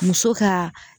Muso ka